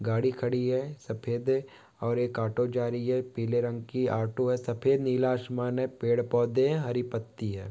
गाड़ी खड़ी है। सफेद अ और एक ऑटो जा रही है पीले रंग की ऑटो है। सफेद नीला आसमान ने पेड़ पौधे है हरी पत्ती है।